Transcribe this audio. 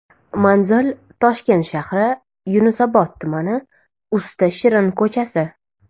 Manzil: Toshkent shahri, Yunusobod tumani, Usta shirin ko‘chasi.